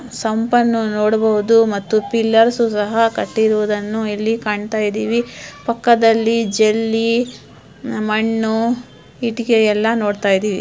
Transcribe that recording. ಸೊಂಪನ್ನು ನೋಡಬಹುದು ಮತ್ತು ಪಿಳ್ಳಾರಸ್ ಸಹ ಕಟ್ಟಿರುವುದುನ್ನು ಇಲ್ಲಿ ಕಾಣ್ತಾ ಇದ್ದೀವಿ ಪಕ್ಕದಲ್ಲಿ ಜೆಲ್ಲಿ ಮಣ್ಣು ಇಟ್ಟಿಗೆ ಎಲ್ಲಾ ನೋಡ್ತಾ ಇದ್ದೀವಿ.